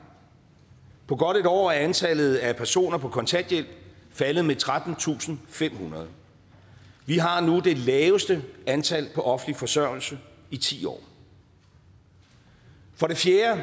på godt et år er antallet af personer på kontanthjælp faldet med trettentusinde og femhundrede vi har nu det laveste antal på offentlig forsørgelse i ti år for det fjerde